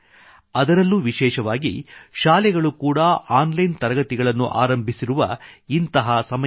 ಅದರಲ್ಲೂ ವಿಶೇಷವಾಗಿ ಶಾಲೆಗಳು ಕೂಡಾ ಆನ್ಲೈನ್ ತರಗತಿಗಳು ಆರಂಭಿಸಿರುವ ಸಮಯದಲ್ಲಿ